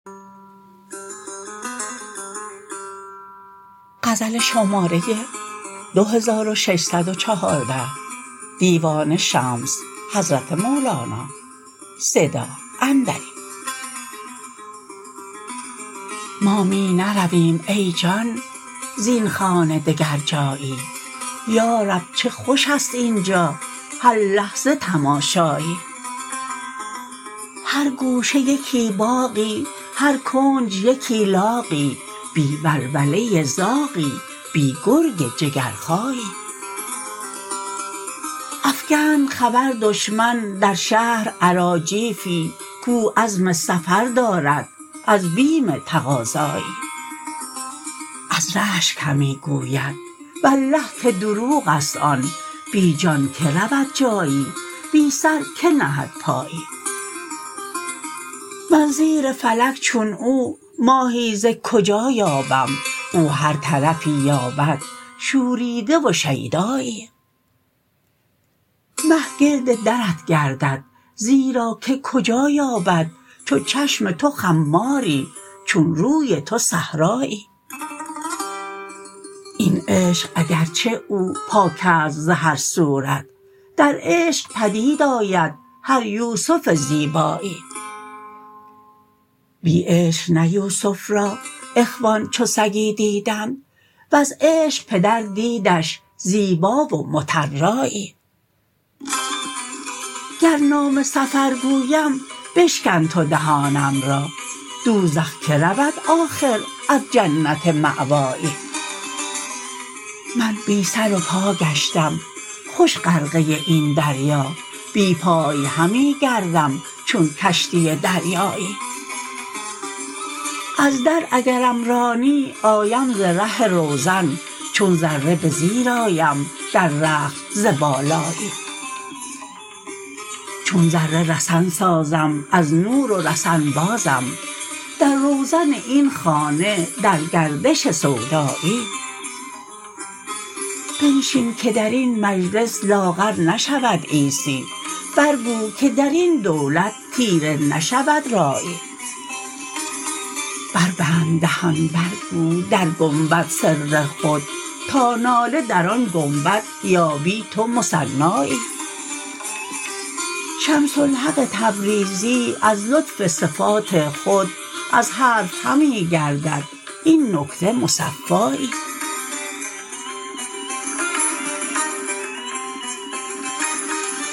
ما می نرویم ای جان زین خانه دگر جایی یا رب چه خوش است این جا هر لحظه تماشایی هر گوشه یکی باغی هر کنج یکی لاغی بی ولوله زاغی بی گرگ جگرخایی افکند خبر دشمن در شهر اراجیفی کو عزم سفر دارد از بیم تقاضایی از رشک همی گوید والله که دروغ است آن بی جان کی رود جایی بی سر کی نهد پایی من زیر فلک چون او ماهی ز کجا یابم او هر طرفی یابد شوریده و شیدایی مه گرد درت گردد زیرا که کجا یابد چو چشم تو خماری چون روی تو صحرایی این عشق اگر چه او پاک است ز هر صورت در عشق پدید آید هر یوسف زیبایی بی عشق نه یوسف را اخوان چو سگی دیدند وز عشق پدر دیدش زیبا و مطرایی گر نام سفر گویم بشکن تو دهانم را دوزخ کی رود آخر از جنت مأوایی من بی سر و پا گشتم خوش غرقه این دریا بی پای همی گردم چون کشتی دریایی از در اگرم رانی آیم ز ره روزن چون ذره به زیر آیم در رقص ز بالایی چون ذره رسن سازم از نور و رسن بازم در روزن این خانه در گردش سودایی بنشین که در این مجلس لاغر نشود عیسی برگو که در این دولت تیره نشود رایی بربند دهان برگو در گنبد سر خود تا ناله در آن گنبد یابی تو مثنایی شمس الحق تبریزی از لطف صفات خود از حرف همی گردد این نکته مصفایی